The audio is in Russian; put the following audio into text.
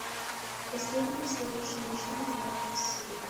последний настоящий мужчина девятая серия